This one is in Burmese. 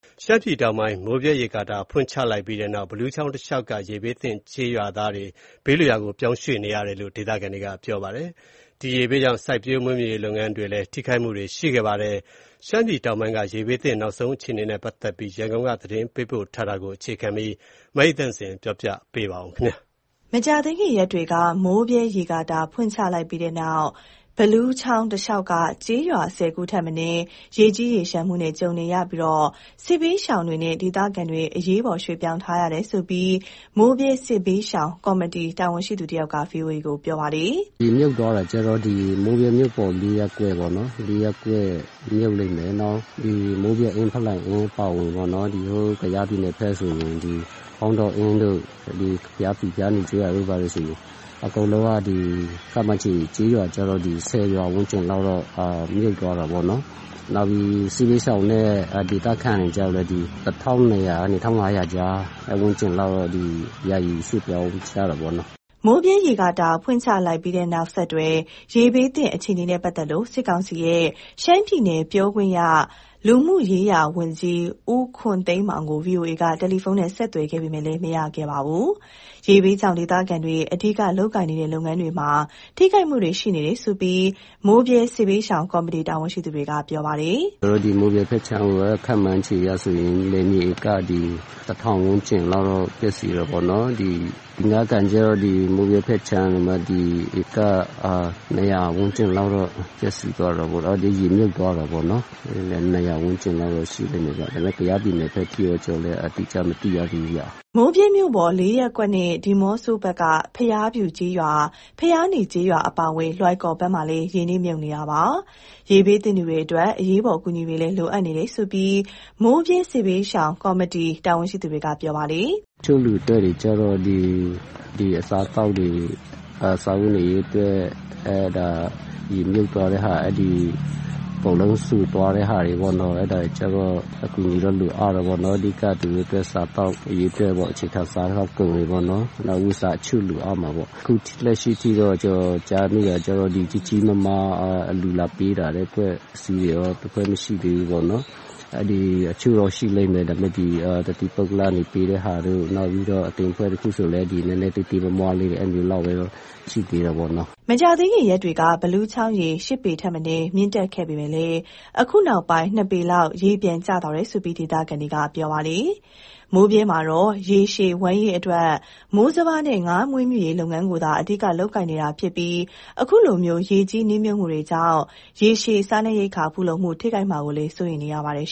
ရှမ်းပြည်တောင်ပိုင်း မိုးဗြဲရေကာတာ ဖွင့်ချလိုက်ပြီးနောက် ဘီလူးချောင်းတလျှောက်က ရေဘေးသင့် ကျေးရွာသားတွေ ဘေးလွတ်ရာ ပြောင်းရွှေ့နေရတယ်လို့ ဒေသခံတွေက ပြောပါတယ်။ ရေဘေးကြောင့် စိုက်ပျိုးမွေးမြူရေးလုပ်ငန်းတွေလည်း ထိခိုက်မှုတွေ ရှိခဲ့တာပါ။ ရှမ်းပြည်တောင်ပိုင်းက ရေဘေးသင့် နောက်ဆုံးအခြေအနေနဲ့ ပတ်သက်လို့ ရန်ကုန်ကနေ သတင်းပေးပို့ ထားပါတယ်။ မကြာသေးခင် ရက်တွေက မိုးဗြဲရေကာတာ ဖွင့်ချပြီးတဲ့နောက် ဘီလူးချောင်းတလျှောက်က ကျေးရွာ ၁၀ ထက်မနည်း ရေကြီးရေလျှံမှုနဲ့ ကြုံနေရပြီး စစ်ဘေးရှောင်နဲ့ ဒေသခံတွေ အရေးပေါ် ရွှေ့ပြောင်းထားရတယ်လို့ မိုးဗြဲစစ်ဘေးရှောင်ကော်မတီ တာဝန်ရှိသူတဦးက ဗွီအိုအေကို ပြောပါတယ်။ "ရေမြုပ်သွားတာကျတော့ ဒီမိုးဗြဲမြို့ပေါ် ၄ ရပ်ကွက်ပေါ့နော်၊ ၄ရပ်ကွက်မြုပ်လိမ်မယ်။ နောက် မိုးဗြဲအင်း ဖလိုင်အင်း အပါအဝင်ပေါ့နော်၊ ဒီကယားပြည်နယ်ဘက်ဆိုရင် ဖောင်းတော်အင်းတို့ ဘုရားဖြူ ဘုရားနီကျေးရွာတို့ ဘာတို့ဆို အကုန်လုံးက ခန့်မှန်းချေကျေးရွာကျတော့ ၁၀ ရွာဝန်းကျင်လောက်တော့ မြုပ်သွားတာပေါ့နော်။ နောက်ပြီး စစ်ဘေးရှောင်နဲ့ ဒေသခံတွေကျတော့လည်း ၁၂၀၀ ကနေ ၁၅၀၀ ကြား အဲ့ဝန်းကျင်လောက်တော့ ယာယီရွှေ့ပြောင်းရတယ်ပေါ့နော်။" မိုးဗြဲရေကာတာ ဖွင့်ချလိုက်ပြီးနောက်ဆက်တွဲ ရေေးဘသင့် အခြေအနေနဲ့ ပတ်သက်လို့ စစ်ကောင်စီရဲ့ ရှမ်းပြည်နယ်ပြောခွင့်ရ လူမှုရေးရာဝန်ကြီး ဦးခွန်သိန်းမောင်ကို VOA က တယ်လီဖုန်းနဲ့ ဆက်သွယ်ခဲ့ပေမယ့် မရခဲ့ပါဘူး။ ရေဘေးကြောင့် ဒေသခံတွေ အဓိကလုပ်ကိုင်နေတဲ့ လုပ်ငန်းတွေမှာ ထိခိုက်မှုတွေ ရှိနေတယ်လို့လည်း မိုးဗြဲစစ်ဘေးရှောင် ကော်မတီတာဝန်ရှိသူက ပြောပါတယ်။ "ကျနော်ဒီမိုးဗြဲဘက်ခြမ်းမှာ ခန့်မှန်းခြေအရဆိုရင် လယ်မြေဧက ၁,၀၀၀ ဝန်းကျင်လောက်တော့ပျက်စီးတယ်ပေါ့နော်။ ဒီ ငါးကန်ကျတော့ ဒီမိုးဗြဲဖက်ခြမ်းကိုမှ ဧက ၂၀၀ ဝန်းကျင်လောက်တော့ ပျက်သွားတယ်ပေါ့ ရေမြှုပ်သွားတယ်ပေါ့နော်၊ ၂၀၀ ဝန်းကျင်လောက်တော့ ရှိလိမ့်မယ်ဗျ။ ဒါပေမယ့် ကယားပြည်နယ်ဘက်ထိတော့ ကျနော်လည်း အတိအကျမသိရသေးဘူးဗျ။" မိုးဗြဲမြို့ပေါ် ၄ ရပ်ကွက်နဲ့ ဒီးမော့ဆိုဘက်က ဘုရားဖြူကျေးရွာ ဘုရားနီကျေးရွာ အပါအဝင် လွိုင်ကော်ဘက်မှာလည်း ရေနစ်မြုပ်နေတာပါ။ ရေဘေးသင့်သူတွေအတွက် အရေးပေါ် အကူအညီတွေလည်း လိုအပ်နေတယ်လို့ မိုးဗြဲစစ်ဘေးရှောင်ကော်မတီ တာဝန်ရှိသူက ပြောပါတယ်။ "တချို့လူအတွက်တွေကျတော့ ဒီအစားအသောက်တွေ ရေမြှုပ်သွားတဲ့ဟာ အဲ့ဒီအကုန်လုံးစိုသွားတဲ့ဟာတွေပေါ့နော်၊ အဲ့ဒါတွေကျတော့ အကူအညီတော့ လိုအပ်တယ်ပေါ့နော်၊ အဓိက သူတို့အတွက် စားသောက်ရေးအတွက်ပေါ့ အခြေခံစားသောက်ကုန်တွေပေါ့နော်၊ နောက်ပြီး အဝတ်အစားအချို့ လိုအပ်မှာပေါ့၊ အခု လက်ရှိထိတော့ ကျနော် ကြားမိတာကျတော့ ဒီကြီးကြီးမားမား အလှူလာပေးတဲ့အဖွဲ့အစည်းတွေရော တစ်ဖွဲ့မရှိသေးဘူးပေါ့နော်။ အချို့တော့ရှိလိမ်မယ် ဒါပေမယ့် တသီးပုဂ္ဂလကနေ ပေးတဲ့ဟာတို့ နောက်ပြီးတော့ အသင်းအဖွဲ့တခုဆိုလည်း နည်းနည်းသေးသေးမွှားမွှားလေးတွေ အဲလိုမျိုးလောက်ပဲ ရှိသေးတယ်ပေါ့နော်။" မကြာသေးခင်ရက်တွေက ဘီလူးချောင်းရေ ၈ပေထက်မနည်း မြင့်တက်ခဲ့ပေမဲ့ အခုနောက်ဆုံး ၂ပေလောက် ရေပြန်ကျသွားတယ်လို့လည်း ဒေသခံတွေက ပြောပါတယ်။ မိုးဗြဲမှာတော့ ရေရှည်ဝမ်းရေးအတွက် မိုးစပါးနဲ့ ငါမွေးမြူးရေးလုပ်ငန်းကိုသာ အဓိက လုပ်ကိုင်နေတာဖြစ်ပြီး အခုလို ရေကြီးနစ်မြုပ်မှုကြောင့် ရေရှည်စားနပ်ရိက္ခာ ဖူလုံမှုထိခိုက်မှာကိုလည်း စိုးရိမ်နေကြပါတယ်